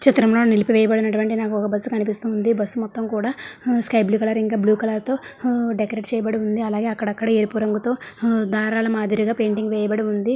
చిత్రంలో నింపివేయబడినటువంటి నాకు ఒక బస్సు కనిపిస్తుంది . బస్సు మొత్తం కూడా ఆ sky blue colour blue colour తో ఆ డెకరేట్ వేయబడి ఉంది. అలాగే అక్కడక్కడ రెడ్ కలర్ తో ఆ దారాల మాదిరిగా డెకరేట్ చేయబడి ఉంది.